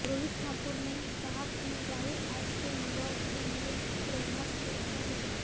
रोहित ठाकुर ने कहा कि राहुल आज के युवाओं के लिए पे्ररणा स्रोत हैं